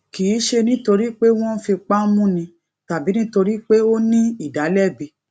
kì í ṣe nítorí pé wón ń fipá múni tàbí nítorí pé ó ní ìdàlẹbi